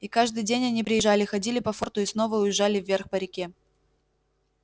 и каждый день они приезжали ходили по форту и снова уезжали вверх по реке